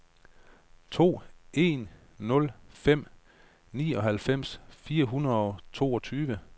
to en nul fem nioghalvfems fire hundrede og toogtyve